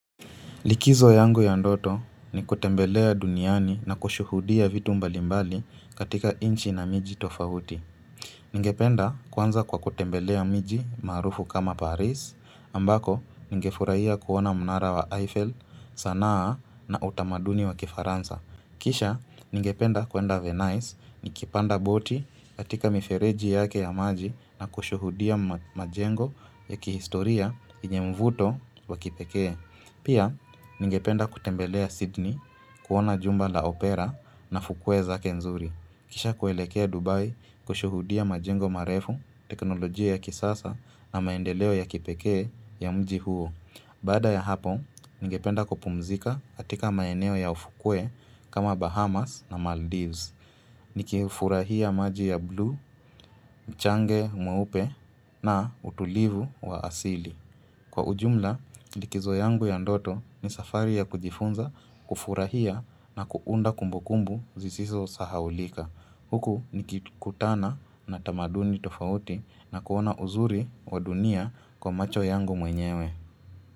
Likizo yangu ya ndoto ni kutembelea duniani na kushuhudia vitu mbalimbali katika nchi na miji tofauti. Ningependa kuanza kwa kutembelea miji maarufu kama Paris, ambako nigefurahiya kuona mnara wa Eiffel, sanaa na utamaduni wa kifaransa. Kisha, ningependa kuenda Venice nikipanda boti katika mifereji yake ya maji na kushuhudia majengo ya kihistoria yenye mvuto wa kipekee. Pia, ningependa kutembelea Sydney kuona jumba la Opera na fukwe zake nzuri. Kisha kuelekea Dubai kushuhudia majengo marefu, teknolojia ya kisasa na maendeleo ya kipekee ya mji huo. Baada ya hapo, ningependa kupumzika katika maeneo ya ufukwe kama Bahamas na Maldives. Nikifurahia maji ya bluu, mchanga mweupe na utulivu wa asili. Kwa ujumla, likizo yangu ya ndoto ni safari ya kujifunza, kufurahia na kuunda kumbukumbu zisisosahaulika. Huku nikikutana na tamaduni tofauti na kuona uzuri wa dunia kwa macho yangu mwenyewe.